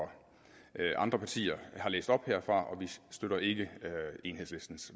andre partier har læst op herfra og vi støtter ikke enhedslistens